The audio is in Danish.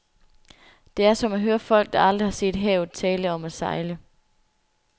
Det er som at høre folk, der aldrig har set havet, tale om at sejle.